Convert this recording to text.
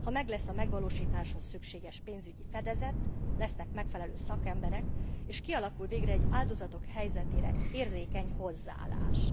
Ha meglesz a megvalósításhoz szükséges pénzügyi fedezet, lesznek megfelelő szakemberek, és kialakul végre egy áldozatok helyzetére érzékeny hozzáállás.